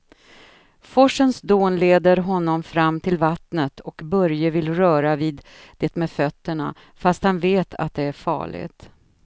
Forsens dån leder honom fram till vattnet och Börje vill röra vid det med fötterna, fast han vet att det är farligt.